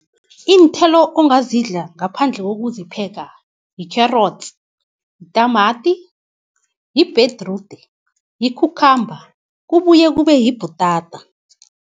Iinthelo ongazidla ngaphandle kokuzipheka, yikherotsi, yitamati, ibhedrude yikhukhamba kubuye kube yibhutata.